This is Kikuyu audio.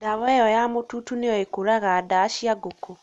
ndawa ĩyo ya mũtutu nĩyo ĩkũũraga ndaa cia ngũkũ